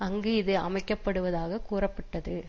அங்கு இது அமைக்க படுவதாக கூறப்பட்டது